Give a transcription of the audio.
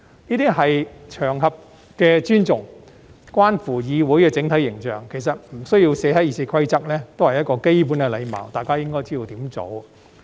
這些是對場合的尊重，關乎議會的整體形象，其實不需要寫在《議事規則》也是基本的禮貌，大家應該知道怎樣做。